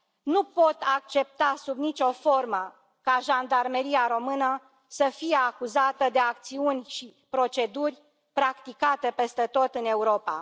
Nu pot accepta sub nicio formă ca Jandarmeria română să fie acuzată de acțiuni și proceduri practicate peste tot în Europa.